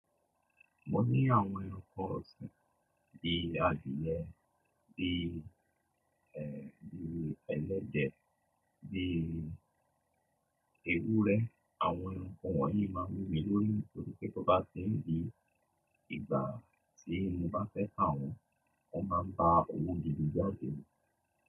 Mo ní àwọn ẹranko ọ̀sin bíi adìẹ, bíi, bíi ẹlẹ́dẹ̀, bíi ewúrẹ́. Àwọn ẹranko wọ̀nyí máa ń wù mí lórí nítorí pé tó bá ti ń di ìgbà tí mo bá fẹ́ tá wọn, wọ́n máa ń ba òwò gìdi jáde.